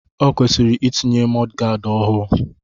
O kwesịrị itinye mọdgaad ọhụụ.